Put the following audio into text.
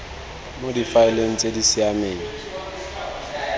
mo difaeleng tse di siameng